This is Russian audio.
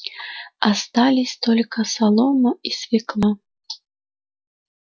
остались только солома и свёкла